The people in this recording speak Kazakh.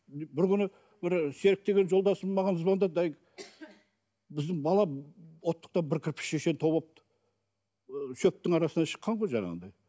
бір күні бір серік деген жолдасым маған звондады әй біздің бала оттықта бір кірпішешен тауып алыпты ы шөптің арасынан шыққан ғой жаңағындай